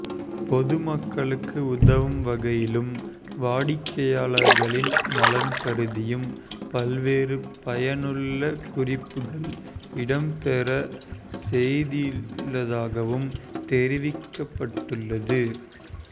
பொதுமக்களுக்கு உதவும் வகையிலும் வாடிக்கையாளர்களின் நலன் கருதியும் பல்வேறு பயனுள்ள குறிப்புகள் இடம்பெற செய்துள்ளதாகவும் தெரிவிக்கப்பட்டுள்ளது